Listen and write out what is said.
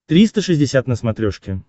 триста шестьдесят на смотрешке